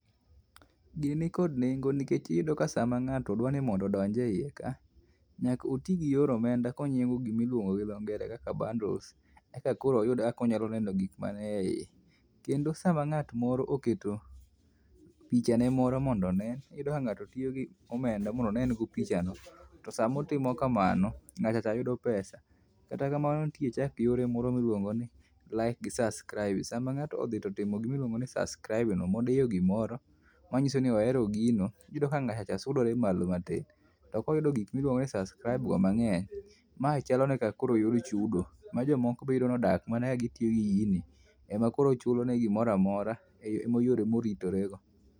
Gini nikod nengo nikech iyudoka sama ng'ato dwa ni mondo odonj eiye ka, nyaka oti gi yor omenda kong'iewogo gima iluongo gi dho ngere kaka bundles eka koro oyud kaka onyalo neno gik man eiye. Kendo sama ng'at moro oketo pichane moro mondo one, iyudo ka ng'atotiyo kod omenda mondo one go pichano to sama otimo kamano, ng'atcha yudo pesa. Kata kamano nitie chak yore moro miluongo ni like gi subsribe. Sama ng'ato otimo gima iluongo ni subscribe modiyo gimoro matiende ni ohero gino, iyudo ka ng'acha cha sudore malo matin. Tom koyudo gik miluongo ni subscribe go mang'eny, ma chalo kaka koro moyudo chudo ma jomoko be koro iyudo nodak katiyo gini ema koro chulone gimoro amora eyore moritorego.